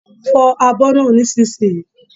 Fo abo náà nísinsìnyí!